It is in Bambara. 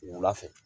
Wula fɛ